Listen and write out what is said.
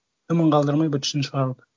дымын қалдырмай быт шытын шығару